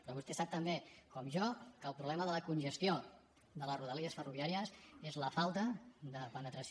però vostè sap tan bé com jo que el problema de la congestió de la rodalia ferroviària és la falta de penetració